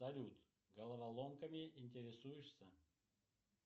салют головоломками интересуешься